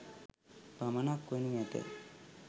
පමණක් වනු ඇත.